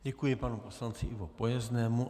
Děkuji panu poslanci Ivo Pojeznému.